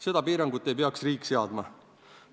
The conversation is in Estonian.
Seda piirangut ei peaks riik seadma.